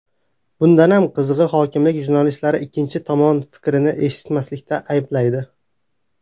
Bundanam qizig‘i hokimlik jurnalistlarni ikkinchi tomon fikrini eshitmaslikda ayblaydi.